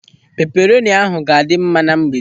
Peperoni ahụ ga-adị mma na mgbede.